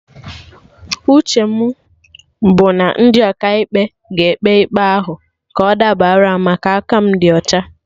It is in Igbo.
Uche mụ bụ na ndị Ọkaikpe ga-ekpe ikpe a ka ọ dabara m, maka aka mụ di ọcha